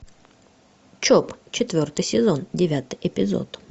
чоп четвертый сезон девятый эпизод